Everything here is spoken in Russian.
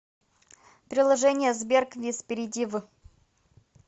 приложение сбер квиз перейди в